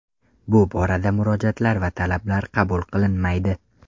Bu borada murojaatlar va talablar qabul qilinmaydi.